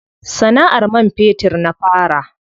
Sana'ar man fetur na fara.